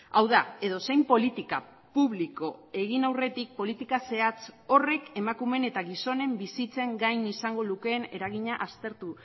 hau da edozein politika publiko egin aurretik politika zehatz horrek emakumeen eta gizonen bizitzen gain izango lukeen eragina aztertu